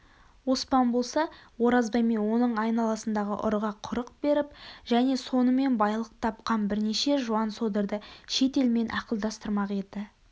оспан болса оразбай мен оның айналасындағы ұрыға құрық беріп және сонымен байлықтапқан бірнеше жуан-содырды шет елмен ақылдастырмақ еді